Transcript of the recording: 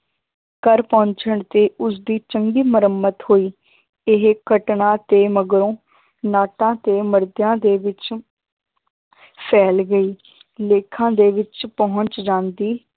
ਘਰ ਪਹੁੰਚਣ ਤੇ ਉਸਦੀ ਚੰਗੀ ਮੁਰੰਮਤ ਹੋਈ ਇਹ ਘਟਨਾ ਤੇ ਮਗਰੋਂ ਨਾਟਾਂ ਤੇ ਦੇ ਵਿੱਚ ਫੈਲ ਗਈ ਲੇਖਾਂ ਦੇ ਵਿੱਚ ਪਹੁੰਚ ਜਾਂਦੀ